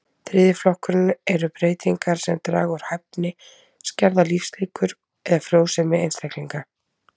Þriðji flokkurinn eru breytingar sem draga úr hæfni, skerða lífslíkur eða frjósemi einstaklinga.